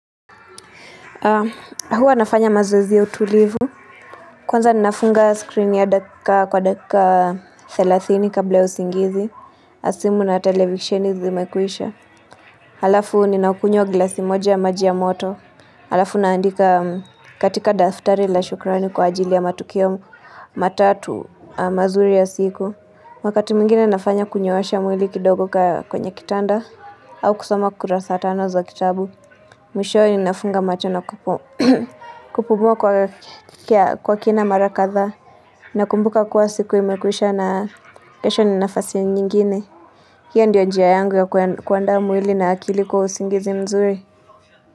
Huwa nafanya mazoezi ya utulivu. Kwanza ninafunga screen ya dakika kwa dakika 30 kabla usingizi. Na simu na televisheni zimekuisha. Halafu ninaukunywa gilasi moja maji ya moto. Halafu naandika katika daftari la shukrani kwa ajili ya matukio matatu mazuri ya siku. Wakati mwigine nafanya kunyoosha mwili kidogo kwenye kitanda. Au kusoma kurasa tano za kitabu. Mwisho ni nafunga macho na kupumua kwa kina marakadha na kumbuka kuwa siku imekuisha na kesho ni nafasi nyingine hiyo ndiyo njia yangu ya kuanda mwili na akili kwa usingizi mzuri.